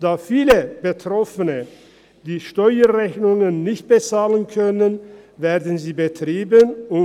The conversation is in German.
Da viele Betroffene die Steuerrechnungen nicht bezahlen können, werden sie betrieben.